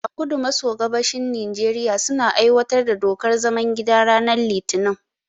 A kudu maso gabashin Nijeriya, suna aiwatar da dokar zaman gida ranar litinin.